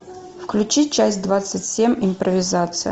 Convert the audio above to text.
включи часть двадцать семь импровизация